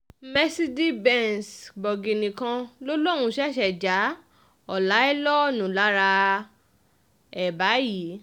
mercedez benz bọ̀gìnnì kan ló lóun ṣẹ̀ṣẹ̀ ja ọláìlọ́ọ̀nù lára ẹ̀ báyìí